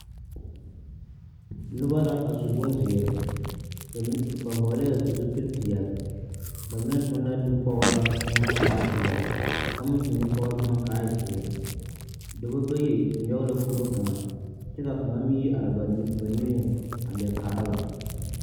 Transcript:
Noba la.a su bonzeer. Ba m... ba hɔɔlɛɛ zupilpeɛl. Ba mine toŋ la nupɔɔraa k'a e peɛl. Ka kaŋ meŋ toŋ nupɔɔr bomɔ k'a e zeɛ. Dɔbɔ bayi nyɔge la kuro kaŋa kyɛ k'a kaŋa meŋ yi ar ba niŋeŋ a leɛ kaara ba.